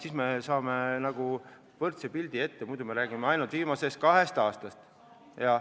Siis me saame võrreldava pildi ette, muidu me räägime ainult viimasest kahest aastast.